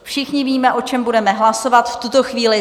Všichni víme, o čem budeme hlasovat v tuto chvíli.